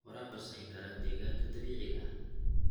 Waraabku wuxuu saameyn karaa deegaanka dabiiciga ah.